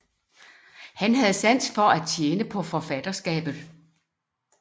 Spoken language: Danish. Han havde sans for at tjene på forfatterskabet